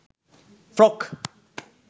frock